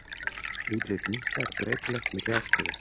Útlit minka er breytilegt milli árstíða.